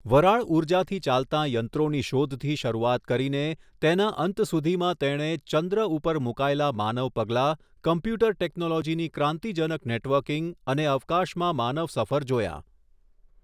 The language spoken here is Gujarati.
વરાળઊર્જાથી ચાલતાં યંત્રોની શોધથી શરૂઆત કરીને તેના અંત સુધીમાં તેણે ચંદ્ર ઉપર મૂકાયેલા માનવ પગલા કમ્પ્યૂટર ટેકનોલોજીની ક્રાંતિજનક નેટવર્કીંગ અને અવકાશમાં માનવસફર જોયાં.